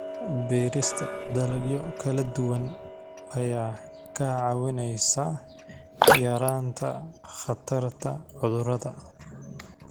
Beerista dalagyo kala duwan ayaa kaa caawinaysa yaraynta khatarta cudurrada.